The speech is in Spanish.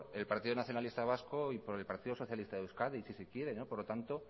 el partido nacionalista vasco y por el partido socialista de euskadi si se quiere por lo tanto